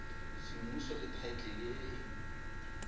semmuso le thaetlele e e